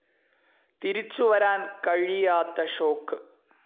തിരിച്ചു വരാൻ കഴിയാത്ത ഷോക്ക്.